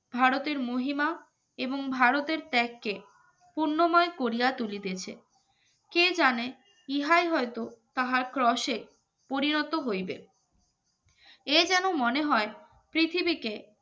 ভারতের মহিমা এবং ভারতের ত্যগকে পূর্ণময় করিয়া তুলিতেছে কে জানে ইহাই হয়তো তাহার ক্রসের পরিণত হইবে এ যেন মনে হয় পৃথিবীকে